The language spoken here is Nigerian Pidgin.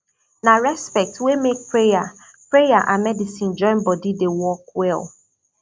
na respect wey make prayer prayer and medicine join body dey work well